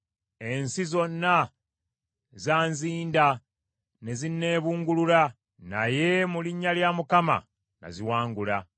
Ensi zonna zanzinda ne zinneebungulula, naye mu linnya lya Mukama naziwangula.